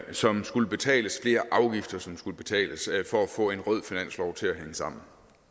som skulle betales flere afgifter som skulle betales for at få en rød finanslov til at hænge sammen